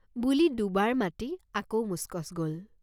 বুলি দুবাৰ মাতি আকৌ মুচকচ্ গল।